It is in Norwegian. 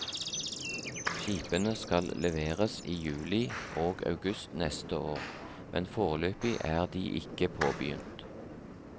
Skipene skal leveres i juli og august neste år, men foreløpig er de ikke påbegynt.